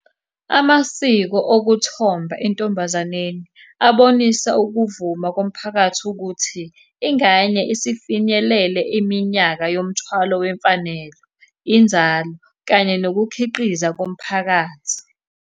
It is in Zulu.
Amasiko okuthomba entombazaneni abonisa ukuvuma komphakathi ukuthi, ingane isifinyelele iminyaka yomthwalo wemfanelo, inzalo kanye nokukhiqiza komphakathi.